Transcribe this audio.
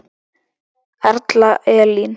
Erla Elín.